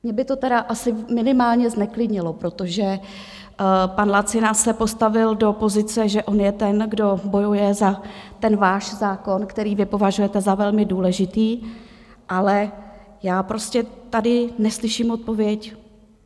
Mě by to tedy asi minimálně zneklidnilo, protože pan Lacina se postavil do pozice, že on je ten, kdo bojuje za ten váš zákon, který vy považujete za velmi důležitý, ale já prostě tady neslyším odpověď.